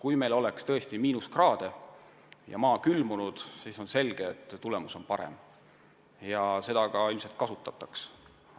Kui meil oleks tõesti miinuskraadid ja maa külmunud, siis selge see, et tulemus oleks parem ja seda olukorda ilmselt kasutataks ära.